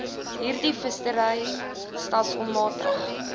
hierdie vissery stelselmatig